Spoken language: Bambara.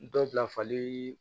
Dɔ bila fali